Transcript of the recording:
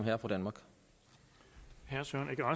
havde